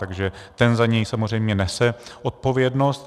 Takže ten za něj samozřejmě nese odpovědnost.